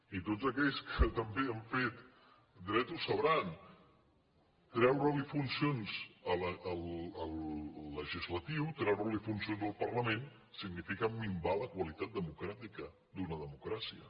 i tots aquells que també han fet dret ho deuen saber treure li funcions al legislatiu treure li funcions al parlament significa minvar la qualitat democràtica d’una democràcia